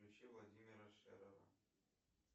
включи владимира шерера